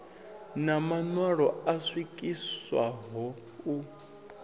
na maṋwalo o swikiswaho u